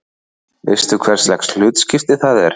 Veistu hverslags hlutskipti það er?